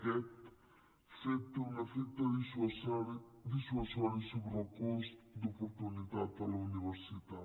aquest fet té un efecte dissuasiu sobre el cost d’oportunitat a la universitat